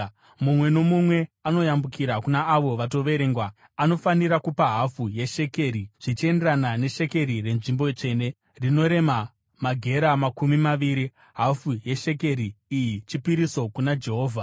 Mumwe nomumwe anoyambukira kuna avo vatoverengwa anofanira kupa hafu yeshekeri , zvichienderana neshekeri renzvimbo tsvene, rinorema magera makumi maviri. Hafu yeshekeri iyi chipiriso kuna Jehovha.